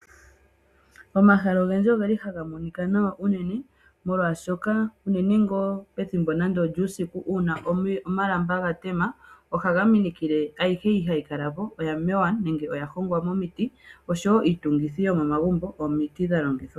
Omahala ogendji ogeli haga monika nawa unene molwaashoka unene ngaa pethimbo nande olyuusiku omalamba gatema, ohaga minikile ayihe mbyoka hayi kala po oya mewa nenge oya hongwa momiti osho woo iitungithi yomomagumbo omiti dha longithwa.